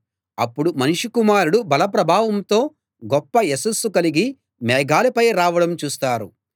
అప్పుడు మనుష్య కుమారుడు బల ప్రభావంతో గొప్ప యశస్సు కలిగి మేఘాలపై రావడం చూస్తారు